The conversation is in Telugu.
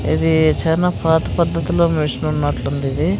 ఇది చానా పాత పద్ధతిలో మిషనున్నట్లుందిది .